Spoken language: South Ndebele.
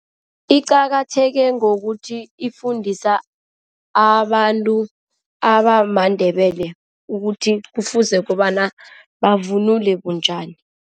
Iqakatheke ngokuthi ifundisa abantu abamaNdebele ukuthi kufuze kobana bavunule bunjani.